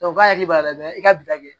k'a hakili b'a la i ka bila